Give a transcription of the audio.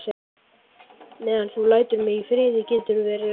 Meðan þú lætur mig í friði geturðu verið rólegur.